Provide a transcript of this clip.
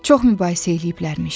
Çox mübahisə eləyiblərmiş.